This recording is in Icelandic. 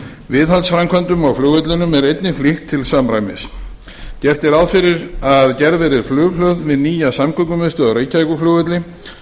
viðhaldsframkvæmdum á flugvellinum er einnig flýtt til samræmis gert er ráð fyrir að gerð verði flughlöð við nýja samgöngumiðstöð á reykjavíkurflugvelli